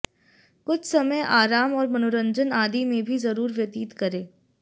कुछ समय आराम और मनोरंजन आदि में भी जरूर व्यतीत करें